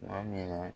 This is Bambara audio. Tuma min na